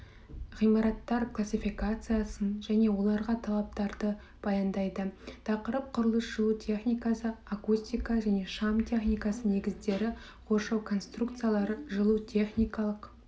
ғимараттар классификациясын және оларға талаптарды баяндайды тақырып құрылыс жылу техникасы акустика және шам техника негіздері қоршау конструкцияларына жылу техникалық